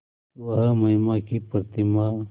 वह महिमा की प्रतिमा